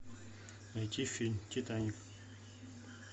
найти фильм титаник